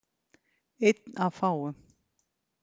Einn af fáum.